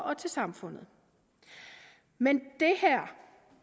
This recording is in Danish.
og til samfundet men